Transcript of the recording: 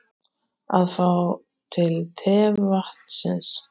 Að fá til tevatnsins